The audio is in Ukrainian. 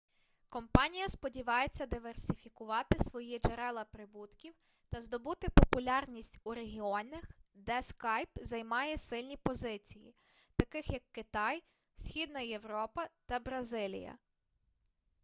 компанія сподівається диверсифікувати свої джерела прибутків та здобути популярність у регіонах де скайп займає сильні позиції таких як китай східна європа та бразилія